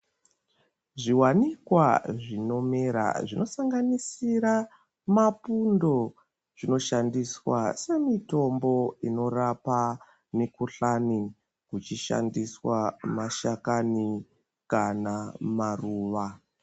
Zviwanikwa zvinomera zvinosanganisira mapundo zvinoshandiswa semitombo inorapa mikuhlani kuchishandiswa mashakani kana maruwa.